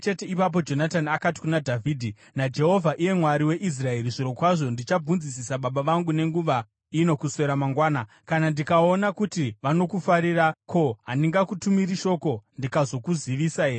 Ipapo Jonatani akati kuna Dhavhidhi “NaJehovha, iye Mwari weIsraeri, zvirokwazvo ndichabvunzisisa baba vangu nenguva ino kuswera mangwana! Kana ndikaona kuti vanokufarira, ko, handingakutumiri shoko ndikazokuzivisa here?